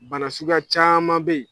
Bana suguya caman be yen